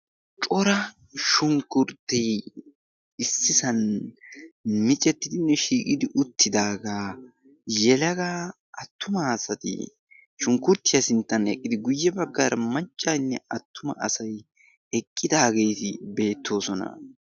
cora shunkkurttee issisan micettidinne shiiqidi uttidaagaa yelagaa attuma asati shunkkurttiyaa sinttan eqqidi guyye baggaara maccaynne attuma asay eqqidaageeti beettoosona.